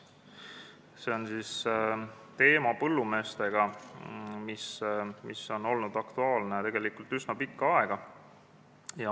See on teema, mis on põllumeeste seas olnud aktuaalne tegelikult üsna pikka aega.